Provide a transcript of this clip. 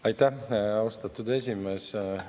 Aitäh, austatud esimees!